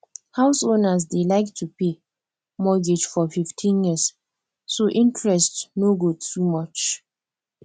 house owners dey like to pay mortgage for 15 years so interest no go too much